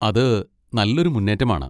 അത് നല്ലൊരു മുന്നേറ്റമാണ്!